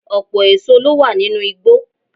Ọpọ̀ èso ló wà nínú igbó